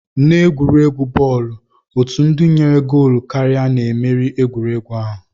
N'egwuregwu bọọlụ, otu ndị nyere goolu karịa na-emeri egwuregwu ahụ